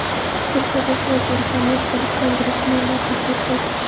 Turkiya Bosh vaziriga amerikalik kongressmenlar tahdid qildi.